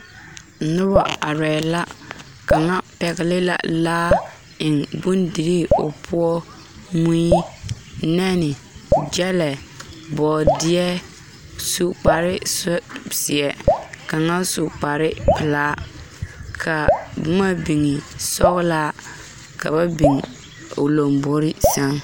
Noba arɛɛ la kaŋa pɛgele la laa biŋ bondirii o poɔ mui nɛne gyɛlɛ bɔɔdea su kpar zeɛ kaŋa su kpar pelaa kaa boma niŋe e sɔgelaa ka ba biŋ o lambori seŋ